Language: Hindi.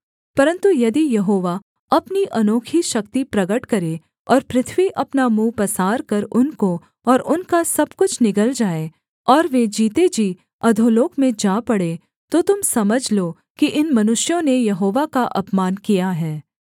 परन्तु यदि यहोवा अपनी अनोखी शक्ति प्रगट करे और पृथ्वी अपना मुँह पसारकर उनको और उनका सब कुछ निगल जाए और वे जीते जी अधोलोक में जा पड़ें तो तुम समझ लो कि इन मनुष्यों ने यहोवा का अपमान किया है